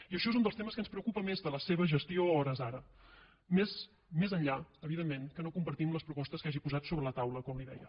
i això és un dels temes que ens preocupa més de la seva gestió a hores d’ara més més enllà evidentment que no compartim les propostes que hagi posat sobre la taula com li deia